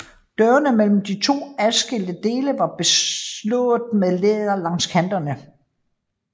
Dørene imellem de to adskilte dele var beslået med læder langs kanterne